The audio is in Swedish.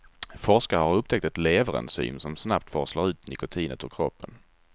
Forskare har upptäckt ett leverenzym som snabbt forslar ut nikotinet ur kroppen.